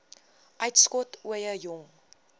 uitskot ooie jong